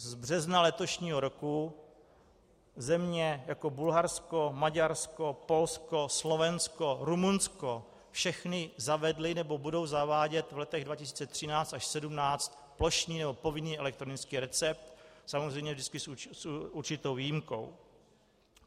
Z března letošního roku země jako Bulharsko, Maďarsko, Polsko, Slovensko, Rumunsko, všechny zavedly nebo budou zavádět v letech 2013 až 2017 plošný nebo povinný elektronický recept, samozřejmě vždycky s určitou výjimkou.